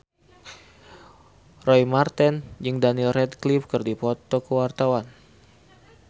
Roy Marten jeung Daniel Radcliffe keur dipoto ku wartawan